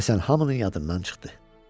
Həsən hamının yadından çıxdı.